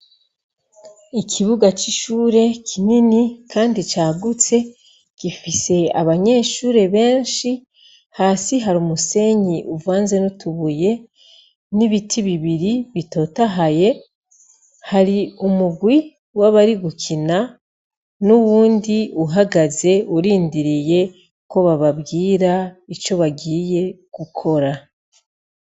Ikibuga c'ishure kinini, kandi cagutse gifise abanyeshure benshi hasi hari umusenyi uvanze n'utubuye n'ibiti bibiri bitotahaye hari umugwi w'abari gukina n'uwundi uhagaze urindiriye ko bababwira ico bagiye gukora.